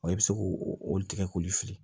i bɛ se k'o olu tigɛ k'olu fili